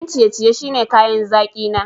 Abincin ciye-ciye shine kayan zaki na.